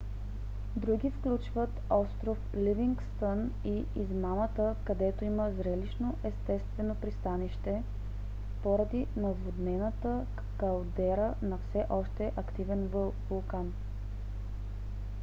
други включват остров ливингстън и измамата където има зрелищно естествено пристанище поради наводнената калдера на все още активен вулкан